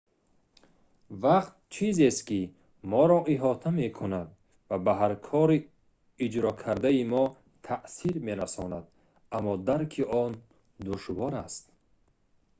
вақт чизест ки моро иҳота мекунад ва ба ҳар кори иҷро кардаи мо таъсир мерасонад аммо дарки он душвор аст